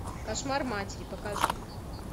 кошмар матери покажи